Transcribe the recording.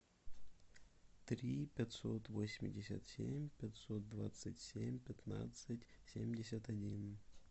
три пятьсот восемьдесят семь пятьсот двадцать семь пятнадцать семьдесят один